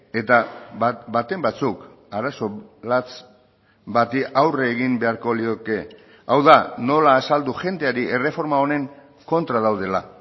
eta baten batzuk arazo latz bati aurre egin beharko lioke hau da nola azaldu jendeari erreforma honen kontra daudela